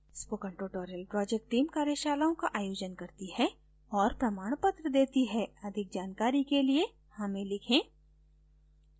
spoken tutorial project team कार्यशालाओं का आयोजन करती है और प्रमाणपत्र देती है अधिक जानकारी के लिए हमें लिखें